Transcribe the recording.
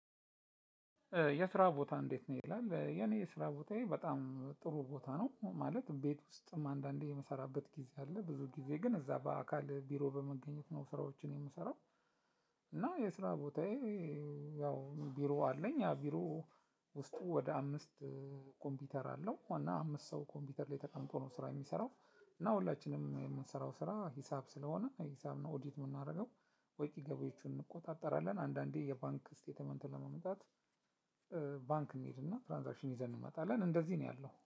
የስራ ቦታህ እንዴት ነው? ይላል የኔ የስራ ቦታዬ በጣም ጥሩ ቦታ ነው ማለት ቤት ውስጥም አንዳንዴ እምሰራበት ጊዜ አለ ብዙ ጊዜ ግን እዛ በአካል ቢሮ በመገኘት ነው ስራዎችን የምሰራው። እና የስራ ቦታዬ። ያው ቢሮ አለኝ ያ ቢሮ። ውስጡ ወደ አምስት ኮምፒውተር አለው እና አምስት ሰው ኮምፒውተር ላይ ተቀምጦ ነው ስራ እሚሰራው። እና ሁላችንም የምንሰራው ስራ ሂሳብ ስለሆነ ሂሳብ ነው ኦዲት እምናደርገው። ወጭ ገቢዎቹን እንቆጣጠራለን። አንዳንዴ የባንክ ስቴትመንት ለማምጣት። ባንክ እንሄድና ትራንዝአክሽን ይዘን እንመጣለን እንደዚህ ነው ያለው